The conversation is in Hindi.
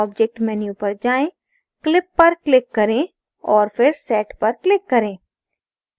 object menu पर जाएँ clip पर click करें और फिर set पर click करें